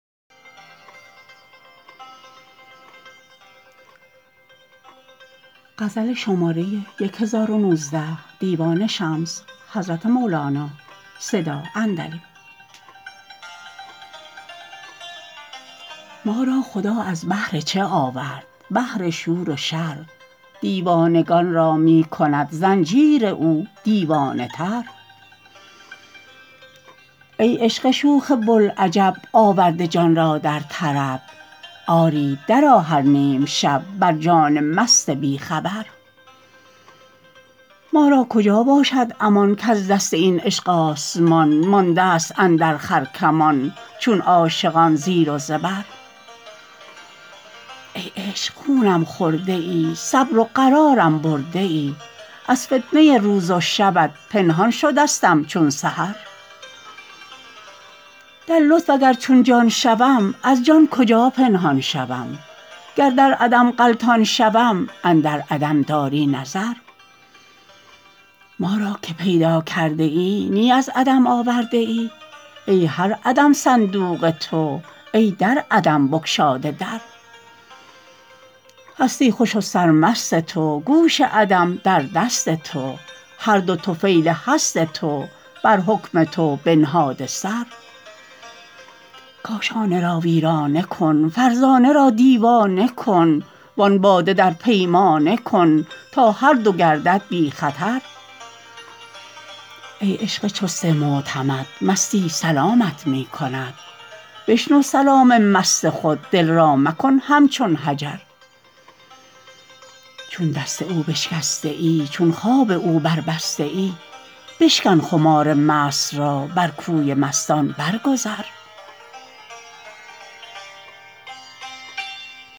ما را خدا از بهر چه آورد بهر شور و شر دیوانگان را می کند زنجیر او دیوانه تر ای عشق شوخ بوالعجب آورده جان را در طرب آری درآ هر نیم شب بر جان مست بی خبر ما را کجا باشد امان کز دست این عشق آسمان ماندست اندر خرکمان چون عاشقان زیر و زبر ای عشق خونم خورده ای صبر و قرارم برده ای از فتنه روز و شبت پنهان شدستم چون سحر در لطف اگر چون جان شوم از جان کجا پنهان شوم گر در عدم غلطان شوم اندر عدم داری نظر ما را که پیدا کرده ای نی از عدم آورده ای ای هر عدم صندوق تو ای در عدم بگشاده در هستی خوش و سرمست تو گوش عدم در دست تو هر دو طفیل هست تو بر حکم تو بنهاده سر کاشانه را ویرانه کن فرزانه را دیوانه کن وان باده در پیمانه کن تا هر دو گردد بی خطر ای عشق چست معتمد مستی سلامت می کند بشنو سلام مست خود دل را مکن همچون حجر چون دست او بشکسته ای چون خواب او بربسته ای بشکن خمار مست را بر کوی مستان برگذر